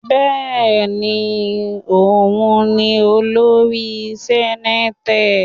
Bẹ́ẹ̀ni, òun ni olórí senate.